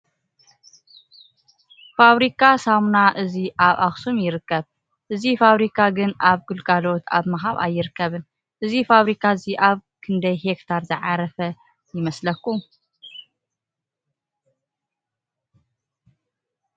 ፋብሪካ ሰሙና እዚ ኣብ ኣክሱም ይርከብ ። እዙይ ፋብሪ ግን ኣብ ግልጋሎት ኣብ ምሃብ ኣይርከብን ። እዙ ፋብሪካ እዙይ ኣብ ክንደይ ሄክታር ዝዓረፈ ይመስለኩም ?